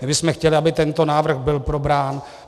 My bychom chtěli, aby tento návrh byl probrán.